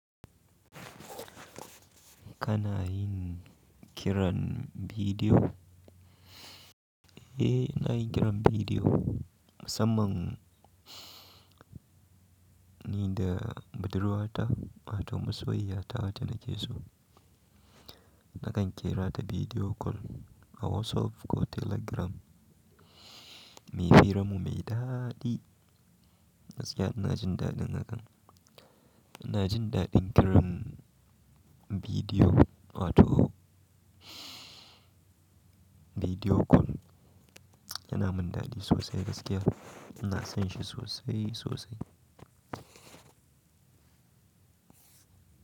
Kana yin kiran bidiyo? Eh, ina yi kiran bidiyo musamman ni da budurwata wato masoyi yata da nake so. Nakan kira ta bidiyo kol a WhatsApp ko Telegram. Muyi firanmu mai daɗi. Gaskiya ina jin daɗin hakan. Ina jin daɗin kiran bidiyo wato bidiyo kol yana min daɗi sosai gaskiya. Ina son shi sosai sosai.